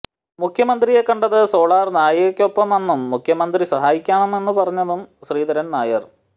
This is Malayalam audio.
മുഖ്യമന്ത്രിയെ കണ്ടത് സോളാർ നായികയ്ക്കൊപ്പമെന്നും മുഖ്യമന്ത്രി സഹായിക്കാമെന്നു പറഞ്ഞെന്നും ശ്രീധരൻ നായർ